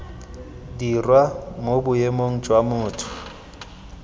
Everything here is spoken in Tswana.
dirwa mo boemong jwa motho